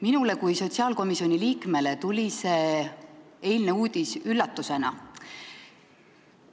Minule kui sotsiaalkomisjoni liikmele tuli eilne uudis üllatusena.